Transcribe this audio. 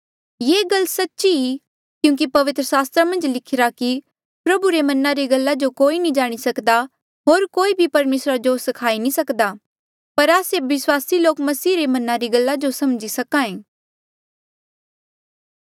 ये गल सच्ची क्यूंकि पवित्र सास्त्रा मन्झ लिखिरा कि प्रभु रे मना री गल्ला जो कोई नी जाणी सकदा होर कोई भी परमेसरा जो स्खाई नी सक्दा पर आस्से विस्वासी लोक मसीह रे मना री गल्ला जो समझी सक्हा ऐें